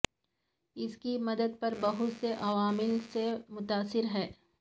اس کی مدت پر بہت سے عوامل سے متاثر ہے